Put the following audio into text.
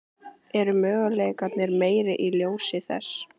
Eru möguleikarnir meiri í ljósi þess?